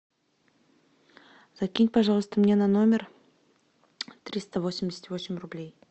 закинь пожалуйста мне на номер триста восемьдесят восемь рублей